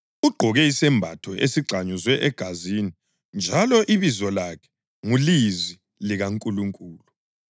Ugqoke isembatho esigxanyuzwe egazini njalo ibizo lakhe nguLizwi likaNkulunkulu.